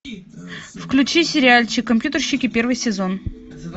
включи сериальчик компьютерщики первый сезон